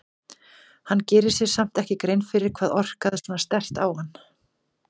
Hann gerir sér samt ekki grein fyrir hvað orkaði svona sterkt á hann.